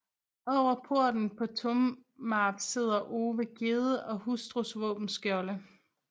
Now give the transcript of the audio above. Over porten på Tomarp sidder Ove Gjedde og hustrus våbenskjolde